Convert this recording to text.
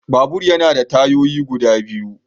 Babur yana da tayoyi guda biyu.